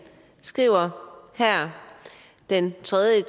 skriver her den tredje